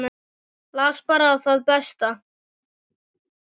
Las bara það besta.